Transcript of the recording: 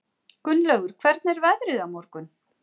Gunnlaugur, hvernig er veðrið á morgun?